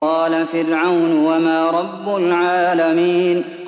قَالَ فِرْعَوْنُ وَمَا رَبُّ الْعَالَمِينَ